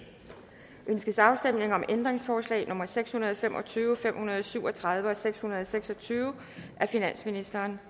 ønskes afstemning om ændringsforslag nummer seks hundrede og fem og tyve fem hundrede og syv og tredive og seks hundrede og seks og tyve af finansministeren